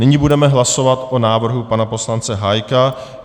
Nyní budeme hlasovat o návrhu pana poslance Hájka.